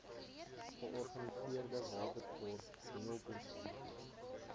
georganiseerde watersport hengelkompetisies